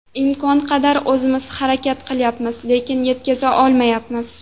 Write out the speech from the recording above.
Imkon qadar o‘zimiz harakat qilyapmiz, lekin yetkaza olmayapmiz.